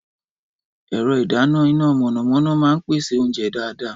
Ẹ̀rọ ìdáná iná mọ̀nàmọ́ná máa ń pèsè oúnjẹ dáadáa.